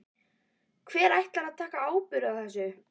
Hver ætlar að taka ábyrgð á þessu?